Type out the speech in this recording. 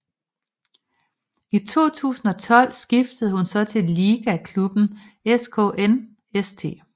I 2012 skiftede hun så til ligaklubben SKN St